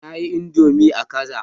Na yi Indomie kaza